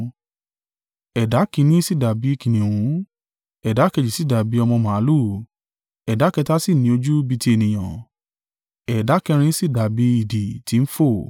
Ẹ̀dá kìn-ín-ní sì dàbí kìnnìún, ẹ̀dá kejì si dàbí ọmọ màlúù, ẹ̀dá kẹta sì ni ojú bi ti ènìyàn, ẹ̀dá kẹrin sì dàbí idì tí ń fò.